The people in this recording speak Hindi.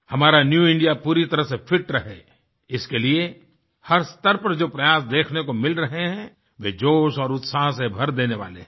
हमारा न्यू इंडिया पूरी तरह से फिट रहे इसके लिए हर स्तर पर जो प्रयास देखने को मिल रहे हैं वे जोश और उत्साह से भर देने वाले हैं